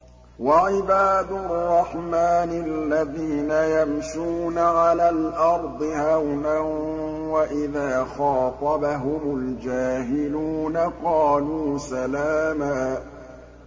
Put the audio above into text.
وَعِبَادُ الرَّحْمَٰنِ الَّذِينَ يَمْشُونَ عَلَى الْأَرْضِ هَوْنًا وَإِذَا خَاطَبَهُمُ الْجَاهِلُونَ قَالُوا سَلَامًا